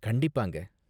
கண்டிப்பாங்க.